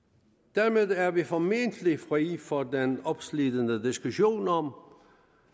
dermed er vi formentlig fri for den opslidende diskussion om